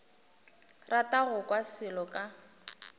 rata go kwa selo ka